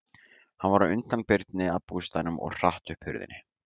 Hann var á undan Birni að bústaðnum og hratt upp hurðinni.